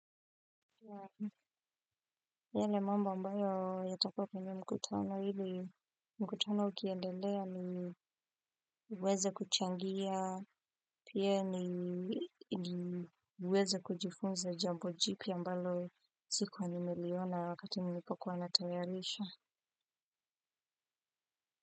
Yale mambo ambayo, yatakopini mkutano ili mkutano ukiendelea ni weze kuchangia pia ni weze kujifunza jambo jipya ambalo sikuwa nimeliona wakati nilipokuwa natayarisha.